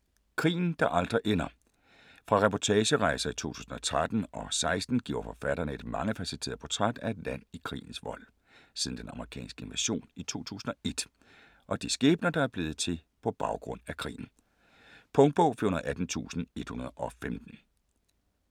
Krigen der aldrig ender Fra reportagerejser i 2013 og 2016 giver forfatterne et mangefacetteret portræt af et land i krigens vold, siden den amerikanske invasion i 2001, og de skæbner der er blevet til på baggrund af krigen. Punktbog 418115 2018. 7 bind.